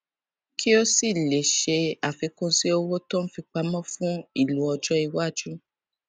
kí ó sì lè ṣe àfikún sí owó tó n fi pamọ fún ìlò ọjọiwájú